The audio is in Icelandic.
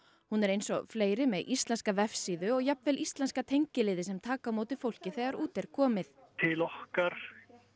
hún er eins og fleiri með íslenska vefsíðu og jafnvel íslenska tengiliði sem taka á móti fólki þegar út er komið til okkar